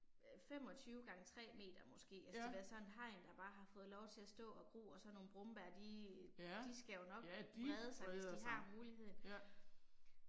Øh 25 gange 3 meter måske altså det har været sådan et hegn der bare har fået lov til at stå og gro og sådan nogle brombær de de skal jo nok brede sig hvis de har muligheden